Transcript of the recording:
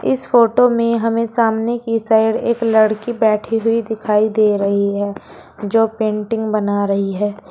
इस फोटो में हमें सामने की साइड एक लड़की बैठी हुई दिखाई दे रही है जो पेंटिंग बना रही है।